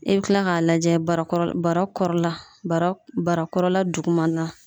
I be kila k'a lajɛ bara kɔrɔla bara barakɔrɔla dugumana na